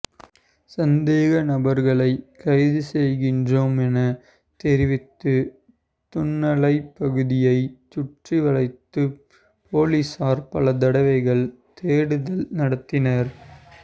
சந்தேகநபர்களைக் கைதுசெய்கின்றோம் எனத் தெரிவித்து துன்னாலைப் பகுதியைச் சுற்றிவளைத்துப் பொலிஸார் பல தடவைகள் தேடுதல் நடத்தினர்